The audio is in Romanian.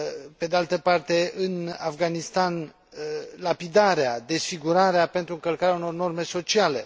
pe de altă parte, în Afganistan, lapidarea, desfigurarea pentru încălcarea unor norme sociale